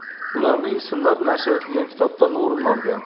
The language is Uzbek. Ularning ismlari nashr etilgan kitobdan o‘rin olgan.